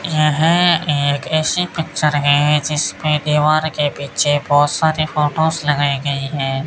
यह एक ऐसी पिक्चर है जिसमें दीवार के पीछे बहुत सारे फोटोस लगाए गए हैं।